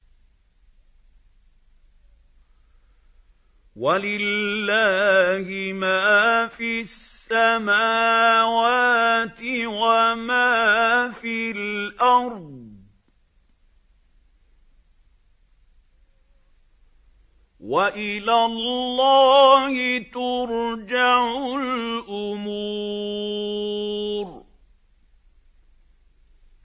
وَلِلَّهِ مَا فِي السَّمَاوَاتِ وَمَا فِي الْأَرْضِ ۚ وَإِلَى اللَّهِ تُرْجَعُ الْأُمُورُ